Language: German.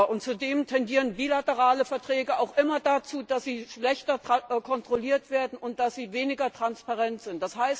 Und zudem tendieren bilaterale Verträge auch immer dazu, dass sie schlechter kontrolliert werden und dass sie weniger transparent sind.